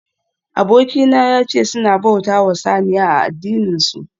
Abokina yace suna bautawa saniya a addininsu